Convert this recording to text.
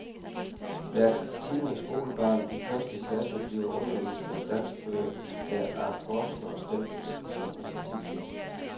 Hvert tiende skolebarn i første klasse bliver undervist med danskbøger, der af forskere stemples som uduelige.